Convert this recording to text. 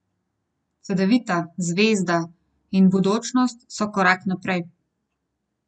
Cedevita, Zvezda in Budućnost so korak naprej.